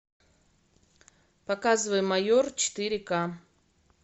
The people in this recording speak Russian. показывай майор четыре к